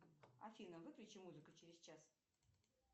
афина выключи музыку через час